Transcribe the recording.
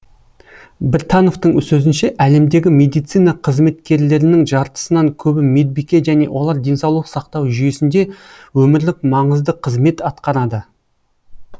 біртановтың сөзінше әлемдегі медицина қызметкерлерінің жартысынан көбі медбике және олар денсаулық сақтау жүйесінде өмірлік маңызды қызмет атқарады